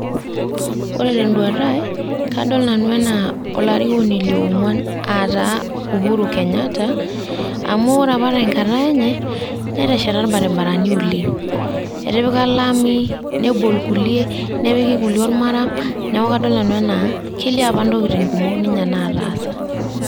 Ore teduata ai, kadol nanu enaa olarikoni le ong'uan a taa Uhuru Kenyatta. Amu ore apa tenkata enye, neteshata irbarabarani oleng'. Etipika olami, nebol kulie, nepik kulie ormaram. Neeku kadol nanu enaa, kelio apa ntokiting' kumok ninye nataasa.